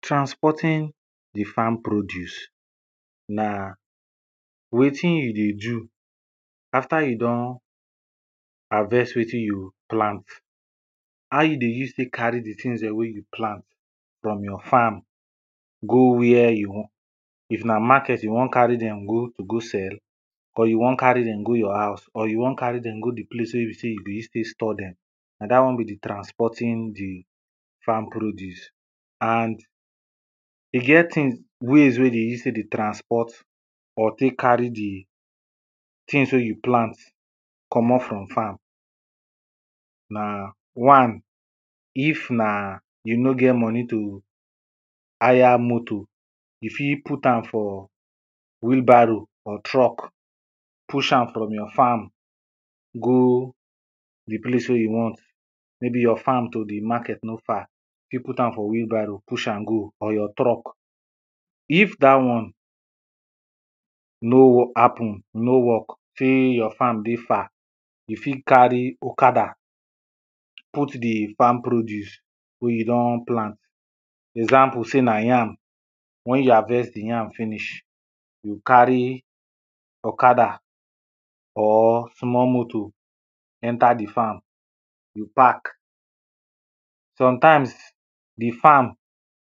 transporting di farm produce, na wetin you dey do after you don harvest wetin you plant. How you dey use take carry di things dem wey you plant from your farm, go where you wan, if na market you wan carry dem go go sell, or you wan carry dem go your house, or you wan carry dem go di place wey e be sey you dey use take store dem, na dat one be di transporting di farm produce and e get things ways wey dem use take dey, transport or tey carry di things wey you plant, komot from farm. Na one, if na you nor get money to hire motor, you fit put am for wheelbarrow or truck push am from your farm go di place wen you want. Maybe your farm to di market no far, you fit put am for wheelbarrow push am go, or your truck. If dat one no happen, no work sey your farm dey far, you fit carry okada, put di farm produce wey you don plant, example sey na yam, wen you harvest di yam finish, you carry okada or small motor, enter di farm. You park. Sometimes, di farm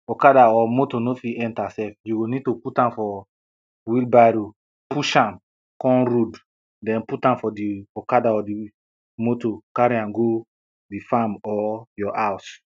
okada or motor no fit enter sef, you go need to put am for wheelbarrow, push am come road, den put am for di okada or motor, carry am go di farm or your house.